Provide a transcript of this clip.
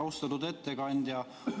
Austatud ettekandja!